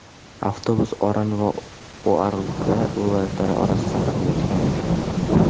Avtobus Oran va Uargla viloyatlari orasida qatnayotgan edi.